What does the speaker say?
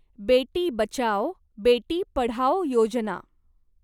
Beti Bachao, Beti Padhao Yojana